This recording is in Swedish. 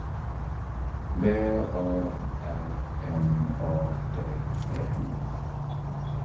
V A R N A D E